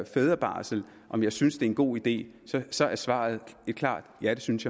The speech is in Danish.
fædrebarsel og om jeg synes det er en god idé så er svaret et klart ja det synes